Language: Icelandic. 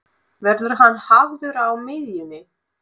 Verður hann hafður á miðjunni?